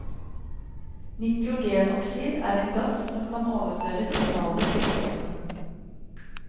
Nitrogenoksid er en gass som kan overføre signaler til kroppen.